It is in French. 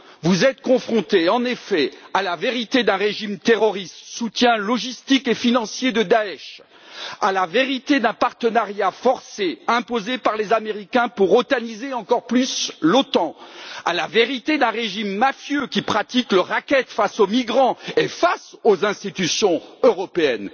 Vous êtes confrontés, en effet, à la vérité d'un régime terroriste, soutien logistique et financier de Daech, à la vérité d'un partenariat forcé imposé par les Américains pour otaniser encore plus l'Otan, à la vérité d'un régime mafieux qui pratique le racket envers les migrants et les institutions européennes.